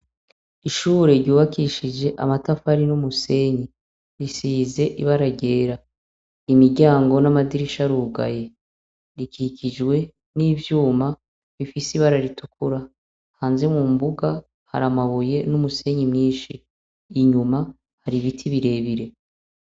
Ishure ryubakishije amatafari n' umusenyi risize ibara ryera imiryango n' amadirisha arugaye ikikijwe n' ivyuma bifise ibara ritukura hanze mu mbuga hari amabuye n' umusenyi mwinshi inyuma hari ibiti bire bire.